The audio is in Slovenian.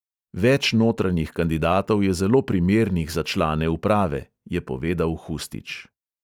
"Več notranjih kandidatov je zelo primernih za člane uprave," je povedal hustič.